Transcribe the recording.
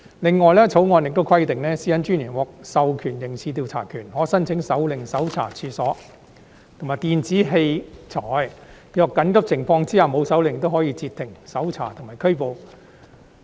另外，《條例草案》亦規定私隱專員獲授刑事調查權，可申請手令搜查處所及電子器材；若在緊急情況下未有手令，亦可以截停、搜查和拘捕人。